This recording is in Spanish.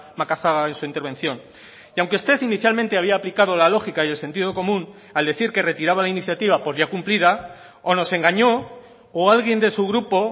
macazaga en su intervención y aunque usted inicialmente había aplicado la lógica y el sentido común al decir que retiraba la iniciativa por ya cumplida o nos engañó o alguien de su grupo